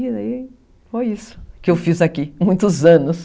foi isso que eu fiz aqui, muitos anos.